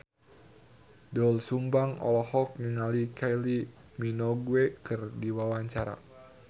Doel Sumbang olohok ningali Kylie Minogue keur diwawancara